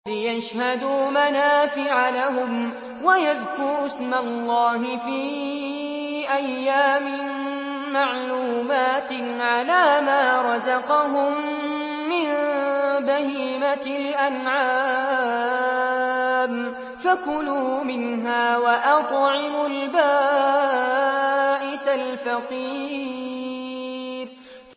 لِّيَشْهَدُوا مَنَافِعَ لَهُمْ وَيَذْكُرُوا اسْمَ اللَّهِ فِي أَيَّامٍ مَّعْلُومَاتٍ عَلَىٰ مَا رَزَقَهُم مِّن بَهِيمَةِ الْأَنْعَامِ ۖ فَكُلُوا مِنْهَا وَأَطْعِمُوا الْبَائِسَ الْفَقِيرَ